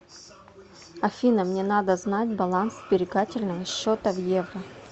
афина мне надо знать баланс сберегательного счета в евро